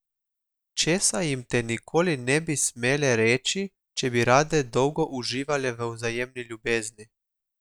Česa jim te nikoli ne bi smele reči, če bi rade dolgo uživale v vzajemni ljubezni?